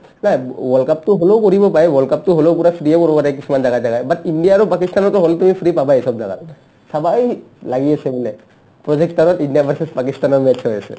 ও world cup টো হ'লেও কৰিব পাই world cup টো হ'লেও পূৰা free য়ে কৰিব পাৰে কিছুমান জাগাই জাগাই but ইণ্ডিয়া আৰু পাকিস্তানৰটো hall তুমি free পাবায়ে চব জাগাত চাবা এই লাগি আছে বোলে প্ৰজেক্টাৰত ইণ্ডিয়া versus পাকিস্তানৰ match হৈ আছে